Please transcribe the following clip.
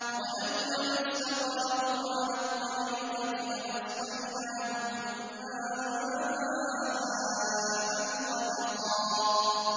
وَأَن لَّوِ اسْتَقَامُوا عَلَى الطَّرِيقَةِ لَأَسْقَيْنَاهُم مَّاءً غَدَقًا